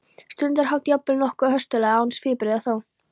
stundarhátt, jafnvel nokkuð höstuglega, án svipbrigða þó.